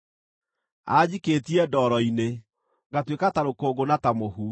Anjikĩtie ndoro-inĩ, ngatuĩka ta rũkũngũ na ta mũhu.